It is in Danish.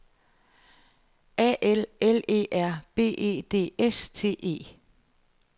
A L L E R B E D S T E